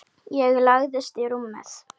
Og lagðist í rúmið.